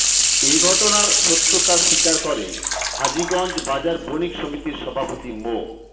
এ ঘটনার সত্যতা স্বীকার করে হাজীগঞ্জ বাজার বণিক সমিতির সভাপতি মো